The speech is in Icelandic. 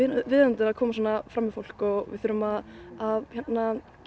viðeigandi að koma svona fram við fólk við þurfum að að